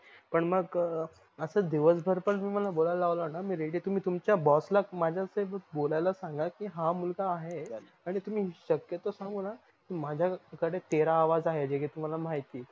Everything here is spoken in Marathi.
पण मग अस दिवसभर पण बोलायाल लावल न मी ready आहे तुम्ही तुमच्या boss ला माझ्यासोबत बोलायला सांगा कि हा मुलगा आहे आणि तुम्ही शक्यतो सांगू न माझ्या कडे तेरा आवाज आहे जे कि तुम्हाला माहित आहे